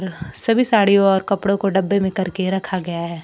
सभी साड़ियों और कपड़ों को डब्बे में करके रखा गया है।